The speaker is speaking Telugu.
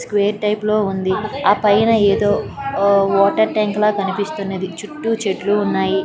స్క్వేర్ టైప్ లో ఉంది ఆ పైన ఏదో అ వాటర్ ట్యాంకు ల కనిపిస్తున్నది. చుట్టూ చెట్లు ఉన్నాయి.